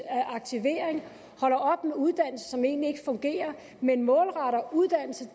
aktivering holder op med uddannelse som egentlig ikke fungerer men målretter uddannelse